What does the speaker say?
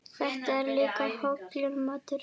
Þetta er líka hollur matur.